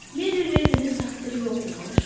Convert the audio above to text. Merri Redinin taksiri yoxmuş?